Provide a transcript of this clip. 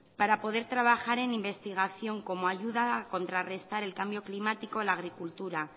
para poder trabajar en investigación como ayuda a contrarrestar el cambio climático en la agricultura